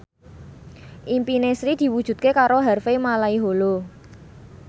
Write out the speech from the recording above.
impine Sri diwujudke karo Harvey Malaiholo